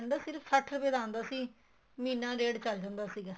cylinder ਸਿਰਫ਼ ਸੱਠ ਰੁਪਏ ਦਾ ਆਂਦਾ ਸੀ ਮਹੀਨਾ ਡੇਡ ਚੱਲ ਜਾਂਦਾ ਸੀਗਾ